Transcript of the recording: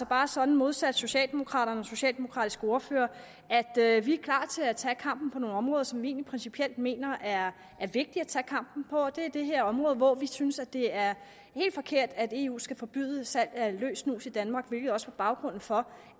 bare sådan modsat socialdemokraterne socialdemokratiske ordfører at at vi er klar til at tage kampen på nogle områder som vi egentlig principielt mener er vigtige at tage kampen og det er det her område hvor vi synes at det er helt forkert at eu skal forbyde salg af løs snus i danmark hvilket også var baggrunden for